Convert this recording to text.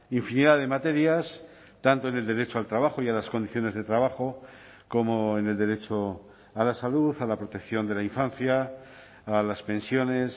infinidad de materias tanto en el derecho al trabajo y a las condiciones de trabajo como en el derecho a la salud a la protección de la infancia a las pensiones